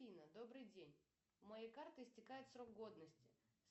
афина добрый день у моей карты истекает срок годности